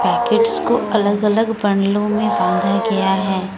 Packets को अलग अलग बंडलों में बांधा गया है।